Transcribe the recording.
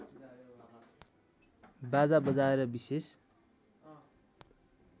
बाजा बजाएर विशेष